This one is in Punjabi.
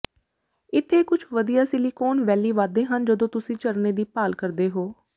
ਇੱਥੇ ਕੁਝ ਵਧੀਆ ਸਿਲਿਕੋਨ ਵੈਲੀ ਵਾਧੇ ਹਨ ਜਦੋਂ ਤੁਸੀਂ ਝਰਨੇ ਦੀ ਭਾਲ ਕਰਦੇ ਹੋ